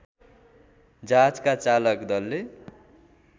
जहाजका चालक दलले